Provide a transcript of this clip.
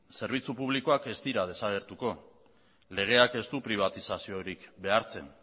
zerbitzu publikoak ez dira desagertuko legeak ez du pribatizaziorik behartzen